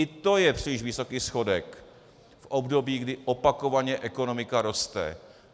I to je příliš vysoký schodek v období, kdy opakovaně ekonomika roste!